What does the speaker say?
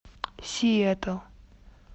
сиэтл